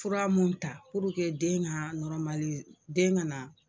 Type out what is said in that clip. Fura mun ta puruke den ka nɔrɔmali den kana